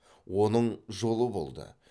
оның жолы болды